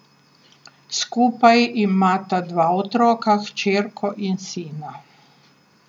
Skupaj imata dva otroka, hčerko in sina.